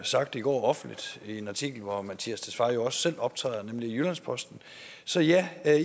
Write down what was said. sagt i går offentligt i en artikel hvor herre mattias tesfaye også selv optræder nemlig i jyllands postens så ja